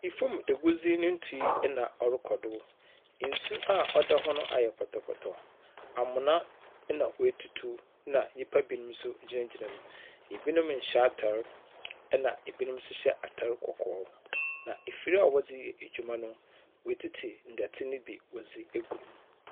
Fam agudzi ne tui na ɔrokɔdo. Nsu a ɔda hɔ no ayɛ pɔtɔpɔtɔ. Amona na wɔatutu. Na nyimpa binom nso gyinagyina hɔ. Ebinom nhyɛ atar. Na Ebinom nso hyɛ atar kɔkɔɔ. Na afir a wɔdze yɛ adwuma no. watsitsi ndɛtse ne bi wzdze agu mu.